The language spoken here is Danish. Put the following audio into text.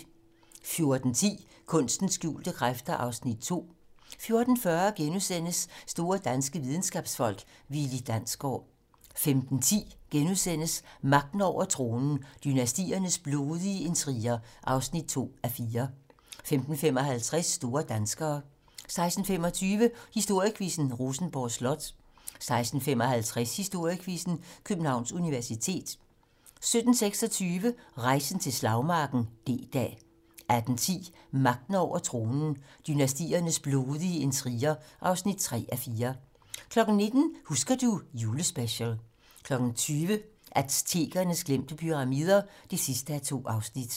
14:10: Kunstens skjulte kræfter (Afs. 2) 14:40: Store danske videnskabsfolk: Willi Dansgaard * 15:10: Magten over tronen - Dynastiernes blodige intriger (2:4)* 15:55: Store danskere 16:25: Historiequizzen: Rosenborg Slot 16:55: Historiequizzen: Københavns Universitet 17:25: Rejsen til slagmarken: D-dag 18:10: Magten over tronen - Dynastiernes blodige intriger (3:4) 19:00: Husker du ... julespecial 20:00: Aztekernes glemte pyramider (2:2)